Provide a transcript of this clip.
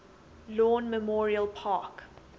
lawn memorial park